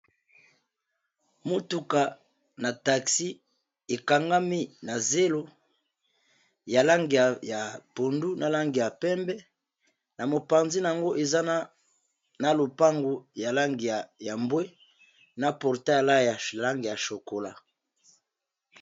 Motuka na taxi e kangami na zelo ya langi ya pondu, na langi ya pembe, na mopanzi n'ango eza na lopango ya langi ya mbwe na portail ya langi ya chocola .